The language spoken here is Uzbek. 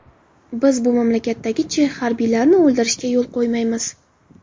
Biz bu mamlakatdagi chex harbiylarini o‘ldirishga yo‘l qo‘ymaymiz.